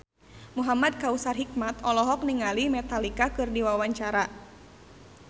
Muhamad Kautsar Hikmat olohok ningali Metallica keur diwawancara